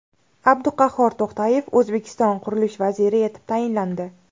Abduqahhor To‘xtayev O‘zbekiston qurilish vaziri etib tayinlandi.